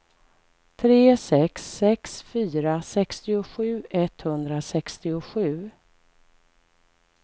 tre sex sex fyra sextiosju etthundrasextiosju